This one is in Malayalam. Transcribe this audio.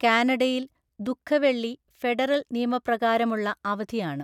കാനഡയിൽ ദുഃഖവെള്ളി ഫെഡറൽ നിയമപ്രകാരമുള്ള അവധിയാണ്.